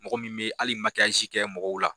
Mɔgɔ min bɛ ali kɛ mɔgɔw la.